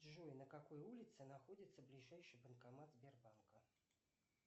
джой на какой улице находится ближайший банкомат сбербанка